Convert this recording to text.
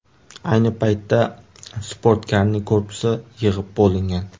Ayni paytda sportkarning korpusi yig‘ib bo‘lingan.